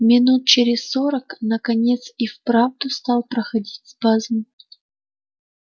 минут через сорок наконец и вправду стал проходить спазм